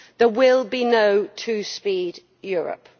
There will be no two speed Europe.